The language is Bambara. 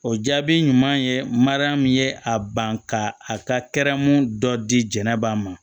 O jaabi ɲuman ye mariya min ye a ban ka a ka kɛrɛn dɔ diɲɛ ba ma